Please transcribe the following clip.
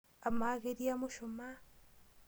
Amaa ketii emushumaa?